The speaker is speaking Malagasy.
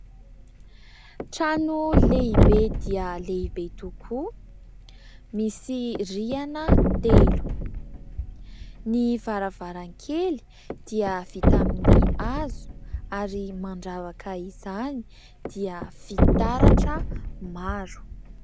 Trano lehibe dia lehibe, tokoa misy rihana telo ; ny varavarankely dia vita amin'ny hazo ary mandravaka izany dia fitaratra maro.